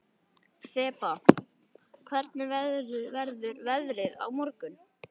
Þeba, hvernig verður veðrið á morgun?